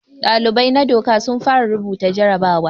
Dalibai na doka sun fara rubuta jarabawa.